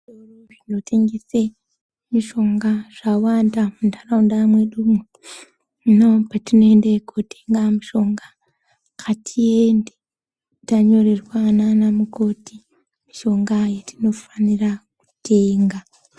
Zvitoro zvinotengese mishongs zvawanda muntaraunda mwedumwo. Hino patinoende kuotenga mishonga ngatiende tanyorerwa naana mukoti mishonga yetinofanira kutenga.